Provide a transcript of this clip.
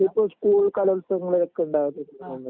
അതുപ്പോ school കലോത്സവങ്ങളിൽ ഒക്കെ ണ്ടവലില്ലേ